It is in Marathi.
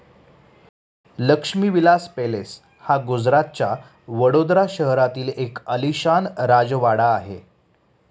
लक्ष्मीविलास पेलेस हा गुजरातच्या वडोदरा शहरातील एक आलिशान राजवाडा आहे.